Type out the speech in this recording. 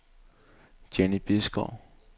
Jenny Bisgaard